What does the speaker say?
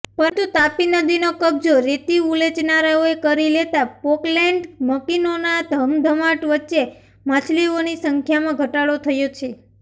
પરંતુતાપી નદીનો કબજો રેતી ઉલેચનારાઓએ કરીલેતાપોકલેન્ડ મકીનોનાધમધમાટવચ્ચે માછલીઓની સંખ્યામાંઘટાડોથયો છે